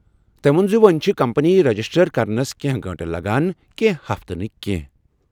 تٔمۍ ووٚن زِ وۄنۍ چھِ کمپنی رجسٹر کرنس کینٛہہ گٲنٛٹہٕ لَگان، کینٛہہ ہفتہٕ نہٕ۔